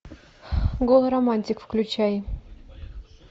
голый романтик включай